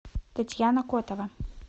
татьяна котова